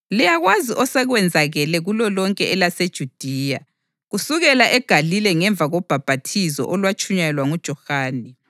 Liyakwazi osekwenzakele kulolonke elaseJudiya, kusukela eGalile ngemva kobhaphathizo olwatshunyayelwa nguJohane,